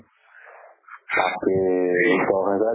বাপ ৰে দহ হেজাৰ